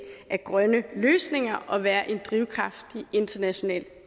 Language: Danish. af grønne løsninger og være en drivkraft i international